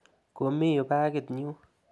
Komi yu pakit nyu.